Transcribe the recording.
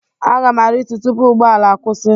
Aga m aritu tupu ụgbọ ala akwụsị.